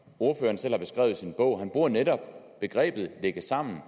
ordføreren selv har beskrevet i sin bog han bruger netop begrebet lægge sammen